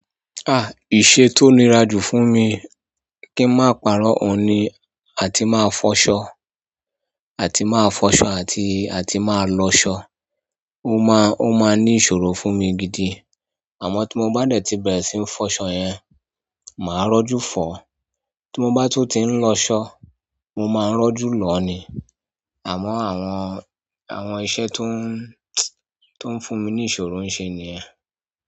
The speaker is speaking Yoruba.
Ah! Iṣe tó nira jù fún mi kí n má parọ́ òun ni àti máa fọṣọ. Àti madọsọ àti atimalọsọ. Ó máa, ó máa ní ìṣòro fún mi gidi. Àmọ́ tí mo bá dẹ̀ ti bẹ̀rẹ̀ síí fọṣọ yẹn, màá rọ́jú fọ̀ ọ. Tí mo bá tún ti ń lọ ṣọ, mo máa ń rọ́jú lọ ni. Àmọ́ àwọn, àwọn iṣẹ́ tó ń, tó ń fún mi ní ìṣòro ń ṣe ni ẹ.